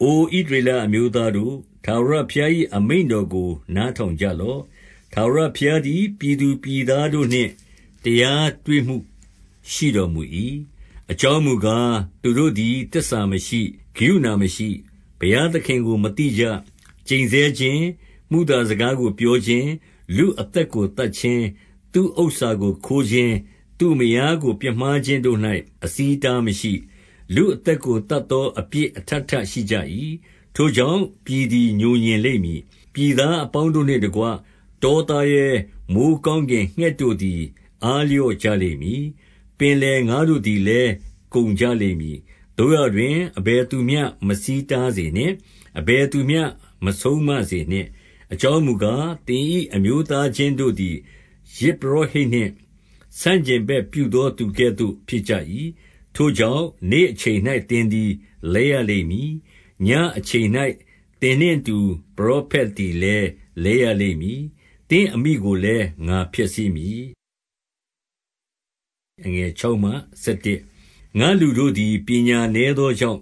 အိုဣသရေလအမျိုးသားတို့၊ ထာဝရဘုရား၏ အမိန့်တော်ကို နားထောင်ကြလော့။ ထာဝရဘုရားသည် ပြည်သူပြည်သားတို့နှင့် တရားတွေ့မူရှိတော်မူ၏။ အကြောင်းမူကား၊ သူတို့သည် သစ္စာမရှိ၊ ကရုဏာမရှိ၊ ဘုရားသခင်ကို မသိကြ။ 2 ကျိန်ဆဲခြင်း၊ မုသာစကားကို ပြောခြင်း၊ လူ အသက်ကို သတ်ခြင်း၊ သူ့ဥစ္စာကိုခိုးခြင်း၊ သူ့မယားကို ပြစ်မှားခြင်းတို့၌ အဆီးအတားမရှိ။ လူအသက်ကို သတ်သောအပြစ် အထပ်ထပ်ရှိကြ၏။ 3 ထိုကြောင့်၊ ပြည်သည် ငြိုငြင်လိမ့်မည်။ ပြည် သားအပေါင်းတို့နှင့်တကွ၊ တောသားရဲ၊ မိုဃ်းကောင်းကင် ငှက်တို့သည် အားလျော့ကြလိမ့်မည်။ ပင်လယ်ငါးတို့ သည်လည်း ကုန်ကြလိမ့်မည်။ 4 သို့ရာတွင်၊ အဘယ်သူမျှ မဆီးတားစေနှင့်။ အဘယ်သူမျှ မဆုံးမစေနှင့်။ အကြောင်းမူကား၊ သင်၏ အမျိုးသားချင်းတို့သည် ယဇ်ပုရောဟိတ်နှင့် ဆန့်ကျင် ဘက်ပြုသော သူကဲ့သို့ဖြစ်ကြ၏။ 5 ထိုကြောင့်၊ နေ့အချိန်၌ သင်သည်လဲရလိမ့်မည်။ ညဉ့်အချိန်၌ သင်နှင့်အတူ ပရောဖက်သည်လည်း လဲရ လိမ့်မည်။ သင့်အမိကိုလည်း ငါဖျက်ဆီးမည်။ 6 ငါ့လူတို့သည် ပညာနည်းသောကြောင့်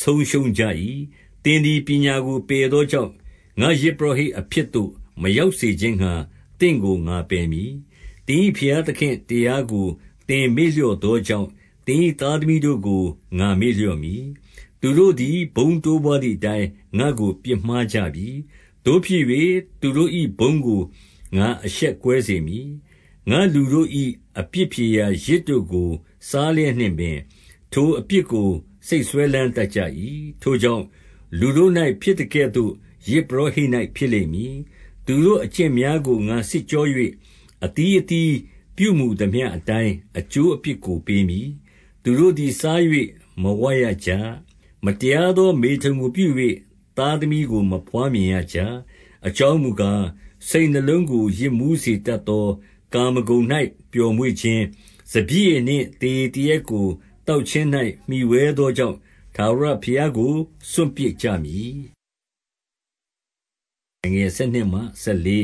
ဆုံးရှုံး ကြ၏။ သင်သည် ပညာကိုပယ်သောကြောင့်၊ ငါ့ယဇ် ပုရောဟိတ် အဖြစ်သို့ မရောက်စေခြင်းငှါ သင့်ကို ငါပယ်မည်။ သင်၏ ဘုရားသခင့်တရားကို သင်မေ့လျော့ သောကြောင့်၊ သင်၏ သားသမီးတို့ကို ငါ့မေ့လျော့မည်။ 7 သူတို့သည် ဘုန်းတိုးပွားသည်အတိုင်း ငါ့ကို ပြစ်မှားကြပြီ။ သို့ဖြစ်၍၊ သူတို့၏ ဘုန်းကို ငါအရှက်ကွဲ စေမည်။ 8 ငါ့လူတို့၏ အပြစ်ဖြေရာ ယဇ်တို့ကို စားလျက် နှင့်ပင်၊ ထိုအပြစ်ကို စိတ်စွဲလမ်းတတ်ကြ၏။ 9 ထိုကြောင့်၊ လူတို့၌ ဖြစ်သကဲ့သို့ ယဇ်ပုရောဟိတ် ၌ ဖြစ်လိမ့်မည်။ သူတို့အကျင့်များကို ငါစစ်ကြော၍၊ အသီး အသီးပြုမူသမျှအတိုင်းအကျိုး အပြစ်ကိုပေးမည်။ 10 သူတို့သည် စား၍မဝရကြ။ မတရားသော မေထုန်ကိုပြု၍ သားသမီးကို မဘွားမြင်ရကြ။ 11 အကြောင်းမူကား စိတ်နှလုံးကို ယစ်မူး၊ စေတတ် သော ကာမဂုဏ်၌ ပျောမွေ့ခြင်း၊ စပျစ်ရည်နှင့် သေရည် သေရက်ကို သောက်ခြင်း၌ မှီဝှဲသောကြောင့် ထာဝရ ဘုရားကို စွန့်ပစ်ကြပြီ။ 12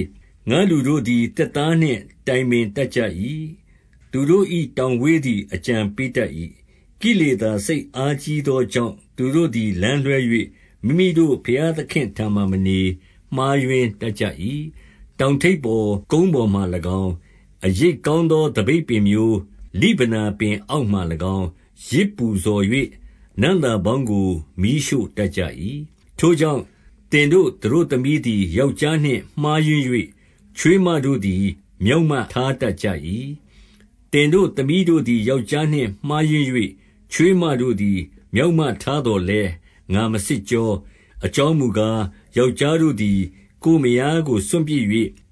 ငါ့လူတို့သည် သစ်သားနှင့် တိုင်ပင်တတ်ကြ၏။ သူတို့၏တောင်ဝေးသည် အကြံပေးတတ်၏။ ကိလေသာ စိတ်အားကြီးသောကြောင့်၊ သူတို့သည် လမ်းလွှဲ၍ မိမိတို့ ဘုရားသခင့်ထံမှာ မနေ၊ မှားယွင်းတတ်ကြ၏။ 13 တောင်ထိပ်ပေါ် ကုန်း ပေါ်မှာ၎င်း အရိပ်ကောင်းသောသပိတ်ပင်မျိုး၊ လိဗနော ပင် အောက်မှာ၎င်း၊ ယဇ်ပူဇော်၍ နံ့သာပေါင်းကို မီးရှို့ တတ်ကြ၏။ ထိုကြောင့်၊ သင်တို့သမီးတို့သည် ယောက်ျား နှင့် မှားယွင်း၍၊ ချွေးမတို့သည် မျောက်မထားတတ်ကြ၏။ 14 သင်တို့သမီးတို့သည် ယောက်ျားနှင့် မှားယွင်း၍ ချွေးမတို့သည် မျောက်မထားသော်လည်း ငါမစစ်ကြော၊ အကြောင်းမူကား၊ ယောက်ျားတို့သည် ကိုယ့်မယားကို စွန့်ပစ်၍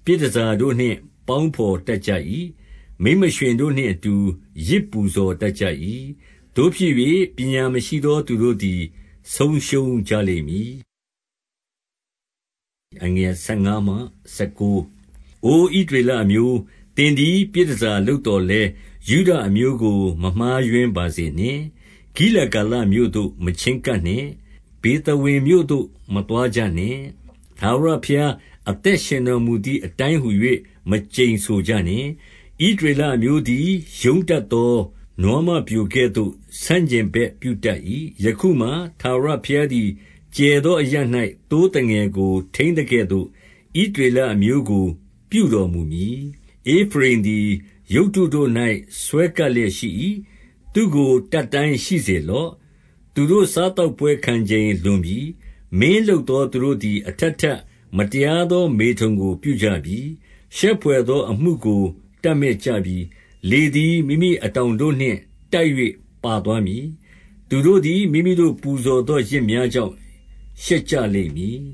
ပြည်တန်ဆာတို့နှင့် ပေါင်းဘော်တက်ကြ၏။ မိန်းမရွှင်တို့နှင့်အတူ ယဇ်ပူဇော်တက်ကြ၏။ သို့ဖြစ်၍ ပညာမရှိသော သူတို့သည် ဆုံးရှုံးကြလိမ့်မည်။ 15 အိုဣသရေလအမျိုး၊ ဥင်သည် ပြည်တန်ဆာလုပ်သော်လည်း၊ ယုဒ အမျိုးကို မမှားယွင်းပါစေနှင့်။ ဂီလဂါလမြို့သို့ မချဉ်းကပ် ကြနှင့်။ ဗေသဝင်မြို့သို့ မသွားကြနှင့်။ ထာဝရဘုရား အသက်ရှင်တော်မူသည် အတိုင်းဟူ၍ မကျိန်ဆိုကြနှင့်။ 16 ဣသရေလ အမျိုးသည် ရုန်းတတ်သော နွားမပျိုကဲ့သို့ဆန့်ကျင်ဘက်ပြုတတ်၏။ ယခုမှာထာဝရဘုရား သည် ကျယ်သောအရပ်၌ သိုးသငယ်ကိုထိန်းသကဲ့သို့၊ ဣသရေလ အမျိုးကို ပြုတော်မူမည်။ 17 ဧဖရိမ်သည်ရုပ်တုတို့၌စွဲကပ်လျက်ရှိ၏။ သူ့ကိုတတ်တိုင်းရှိစေလော့။ 18 သူတို့စားသောက်ပွဲခံချိန်လွန်ပြီ။ မင်းလုပ်သောသူတို့သည် အထပ်ထပ်မတရားသော မေထုန်ကိုပြုကြပြီ။ ရှက်ဘွယ်သောအမှုကိုတပ်မက်ကြပြီ။ 19 လေသည် မိမိ အတောင်တို့နှင့်တိုက်၍ ပါသွားမည်။ သူတို့သည် မိမိတို့ ပူဇော်သောယဇ်များကြောင့် ရှက်ကြလိမ့်မည်